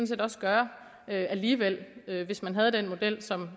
set også gøre alligevel hvis man havde den model som